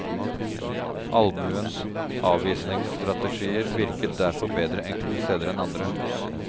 Allmuens avvisningsstrategier virket derfor bedre enkelte steder enn andre.